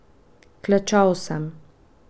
Klečal sem.